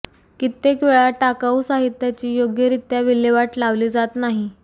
कित्येक वेळा टाकावू साहित्याची योग्यरीत्या विल्हेवाट लावली जात नाही